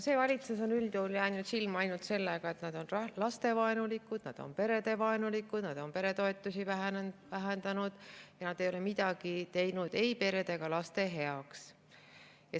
See valitsus on üldjuhul jäänud silma ainult sellega, et nad on lastevaenulikud, nad on perevaenulikud, nad on peretoetusi vähendanud ja nad ei ole midagi teinud ei perede ega laste heaks.